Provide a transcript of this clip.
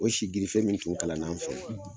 O si girife min tun kalan na n fɛ